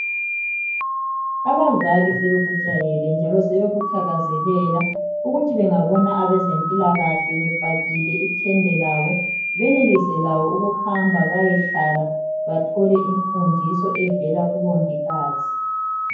Abazali sebekujayele, njalo sebekuthakazelela, ukuthi bengabona, abezempilakahle, befakile ithende labo. Benelise labo ukuhamba bayehlala. Bathole imfundiso evela kubongikazi.